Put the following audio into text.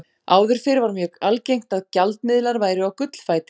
Áður fyrr var mjög algengt að gjaldmiðlar væru á gullfæti.